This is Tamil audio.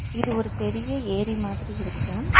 இது ஒரு பெரிய ஏரி மாதிரி இருக்கு.